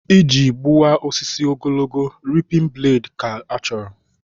Iji gbuwa osisi ogologo, ripin bladị ka-achọrọ